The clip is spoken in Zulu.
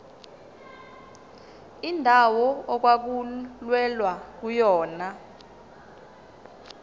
indawo okwakulwelwa kuyona